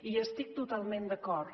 i hi estic totalment d’acord